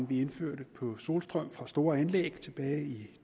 vi indførte på solstrøm fra store anlæg tilbage i